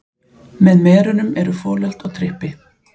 Með merunum eru folöld og trippi.